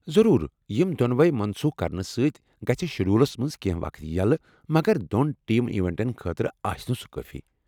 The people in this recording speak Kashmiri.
ضرور یم دۄنوَے منسوٗخ کرنہٕ سۭتۍ گژھ شیڈولس منٛز کینٛہہ وقت یلہٕ، مگر دۄن ٹیم ایونٹن خاطرٕ آسِنہٕ سُہ کٲفی۔